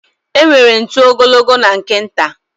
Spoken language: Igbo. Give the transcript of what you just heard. Enwere ntu ogologo na nke nta.